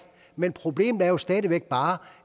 men problemet er stadig væk bare